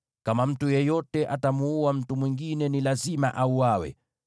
“ ‘Kama mtu yeyote atamuua mtu mwingine, ni lazima auawe.